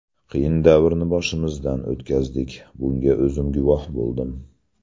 Qiyin davrni boshimizdan o‘tkazdik, bunga o‘zim guvoh bo‘ldim.